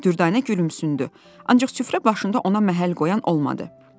Dürdanə gülümsündü, ancaq süfrə başında ona məhəl qoyan olmadı.